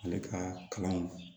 Ale ka kalan